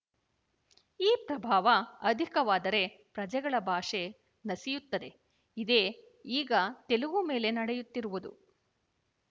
ಈ ಪ್ರಭಾವ ಅಧಿಕವಾದರೆ ಪ್ರಜೆಗಳ ಭಾಷೆ ನಸಿಯುತ್ತದೆ ಇದೇ ಈಗ ತೆಲುಗು ಮೇಲೆ ನಡೆಯುತ್ತಿರುವುದು